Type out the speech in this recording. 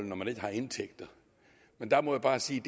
når man ikke har indtægter men der må jeg bare sige